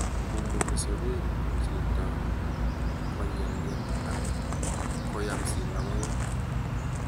Mumuti sokek cheto konyelnyel ok koyamsi logoek